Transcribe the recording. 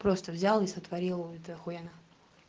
просто взяла и сотворила ули то ахуенно